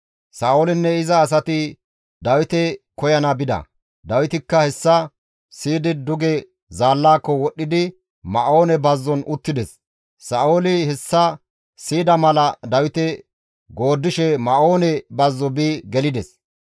Sa7oolinne iza asati Dawite koyana bida; Dawitikka hessa siyidi duge zaallaako wodhdhidi Ma7oone bazzon uttides. Sa7ooli hessa siyida mala Dawite gooddishe Ma7oone bazzo bi gelides.